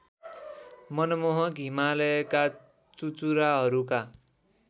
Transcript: मनमोहक हिमालयका चुचुराहरूका